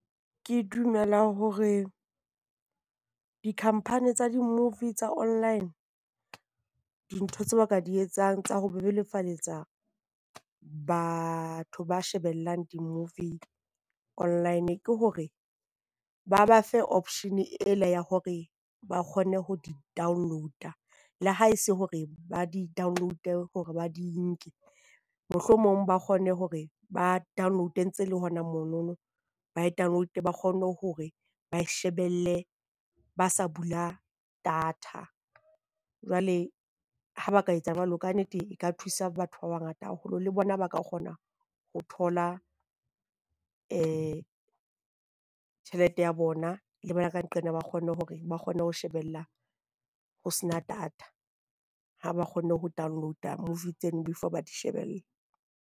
Ke dumela hore di-company tsa di-movie tsa online, dintho tse ba ka di etsang tsa ho bebofaletsa batho ba shebellang di-movie online ke hore ba ba fe option ela ya hore ba kgone ho di download-a. Le ha e se hore ba di download hore ba di nke, mohlomong ba kgone hore ba download-e ntse le hona monono. Ba e download ba kgone hore ba e shebelle ba sa bula data. Jwale ha ba ka etsa jwalo kannete e ka thusa batho ba bangata haholo le bona ba ka kgona ho thola tjhelete ya bona, le ba ka nqena ba kgone hore ba kgone ho shebella ho sena data ha ba kgonne ho download-a movie tseno before ba di shebella.